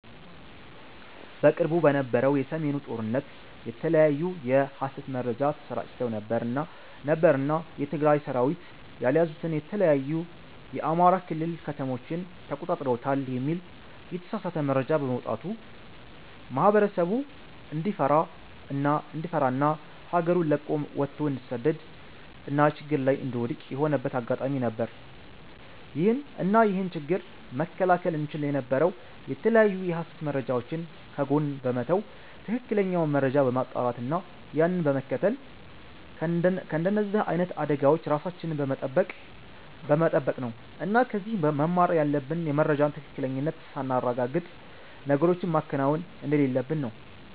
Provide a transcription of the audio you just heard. በቅርቡ በነበረው የ ሰሜኑ ጦርነት የተለያዩ የ ሀሰት መረጃ ተሰራጭተው ነበር እና የ ትግራይ ሰራዊት ያልያዙትን የተለያዩ የ አማራ ክልል ከተሞችን ተቆጣጥረውታል የሚል የተሳሳተ መረጃ በመውጣቱ ማህበረሰቡ እንዲፈራ እና ሀገሩን ለቆ ወቶ እንዲሰደድ እና ችግር ላይ እንዲወድክቅ የሆነበት አጋጣሚ ነበር። እና ይህንን ችግር መከላከል እንቺል የነበረው የተለያዩ የሀሰት መረጃወችን ከጎን በመተው ትክክለኛውን መረጃ በማጣራት እና ያንን በመከተል ከንደዚህ አይነት አደጋወች ራሳችንን በመተበቅ ነው እና ከዚህ መማር ያለብን የመረጃን ትክክለኝነት ሳናረጋግጥ ነገሮችን ማከናወን እንደሌለብን ነው